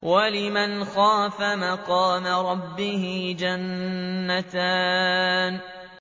وَلِمَنْ خَافَ مَقَامَ رَبِّهِ جَنَّتَانِ